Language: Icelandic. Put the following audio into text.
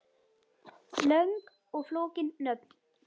Löng og flókin nöfn